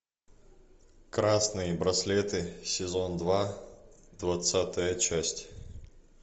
красные браслеты сезон два двадцатая часть